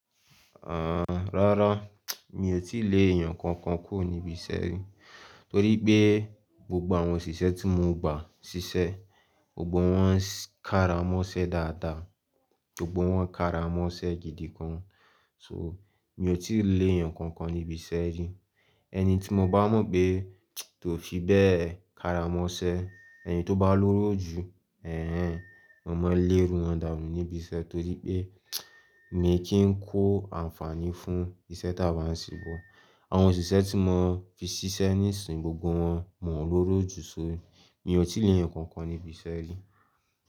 Rárá, mi ò tí lè èèyàn kankan kúrò níbi iṣẹ́ rí torí pé gbogbo àwọn òṣìṣẹ́ tí mo gba ṣiṣẹ́, gbogbo wọn ń kára mọ́ṣẹ́ dáadáa, gbogbo wọn ń kára mọ́ṣẹ́ gidi gan. So mi ò tí lè èèyàn kankan níbi iṣẹ́ rí. Ẹni tí mo bá mọ̀ pé kó fi bẹ́ẹ̀ kára mọ́ṣẹ́, ẹni tó bá lóró jù, ẹ̀ ẹ̀, mo máa n lé iru wọn dànú níbi iṣẹ́ torí pé mi kí ń kó àǹfààní fún ìṣe tí a bá ń ṣe bọ̀. Àwọn òṣìṣẹ́ tí mo fi ṣiṣẹ́ níìsín, gbogbo wọn mọ̀ ọ́n lóró jù, so mi ò tí lè èèyàn kankan níbi iṣẹ́ rí.